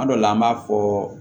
Kuma dɔ la an b'a fɔ